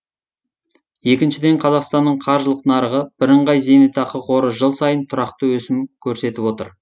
екіншіден қазақстанның қаржылық нарығы бірыңғай зейнетақы қоры жыл сайын тұрақты өсім көрсетіп отыр